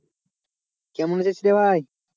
কেমন আছিস রে ভাই?